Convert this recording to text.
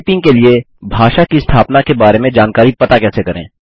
typing के लिए भाषा की स्थापना के बारे में जानकारी पता कैसे करें